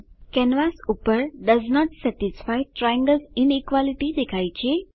canvas પર does not satisfy triangles inequality દેખાય છે